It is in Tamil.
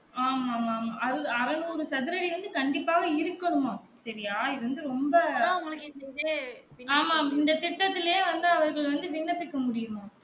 ஆமா ஆமா ஆமா அறநூறு சதுர அடி வந்து கண்டிப்பாக இருக்கன்னும் செறியா இது வந்து ரொம்ப ஆமாம் இந்த திட்டத்துலுயே வந்து அவர்கள் வந்து விண்ணப்பிக்க முடியும்மாம்